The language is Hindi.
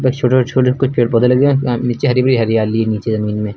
बस छोटे छोटे कुछ पेड़ पौधे लगे हैं। आ नीचे हरी भरी हरियाली है नीचे जमीन में।